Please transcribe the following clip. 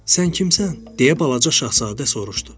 Sən kimsən, deyə balaca şahzadə soruşdu.